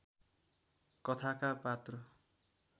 कथाका पात्र